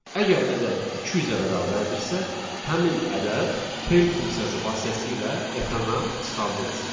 Əgər ədəd 200-ə bərabərdirsə, həmin ədəd print funksiyası vasitəsilə ekrana çıxarılsın.